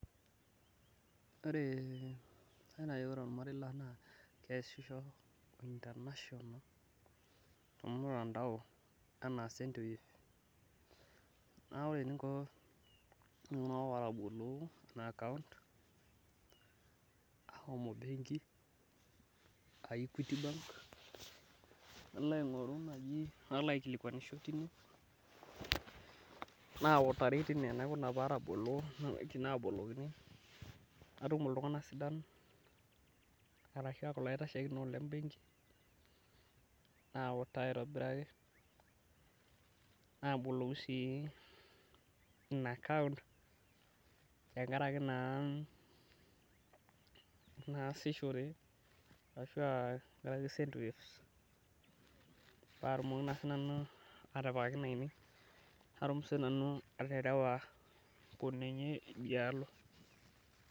ore olmarei lang naa kee sisho ointanationa telmutandao, enaa sendwave neeku ore eninko, ore itunganak otabolo ahomo bengi aa ikuiti bank, nalo aingoru naaji nalo aikikuanisho tine naalikini, natum iltunganak sidan arashu ilaitashekinot, lebenki nautaa aitobiraki, naboloki sii ina akaunt, tenkaraki naa nasishore, sandwave pee atumoki naanu natum sinanu aterewa inkunenye idialo.